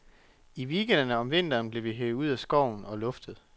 I weekenderne om vinteren blev vi hevet ud i skoven og luftet.